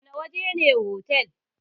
Wana waje ne otal?